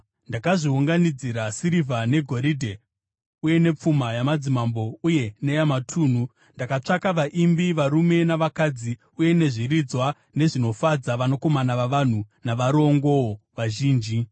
Ndakazviunganidzira sirivha negoridhe, uye nepfuma yamadzimambo uye neyamatunhu. Ndakatsvaka vaimbi, varume navakadzi, uye nezviridzwa, nezvinofadza vanakomana vavanhu, navarongowo vazhinji.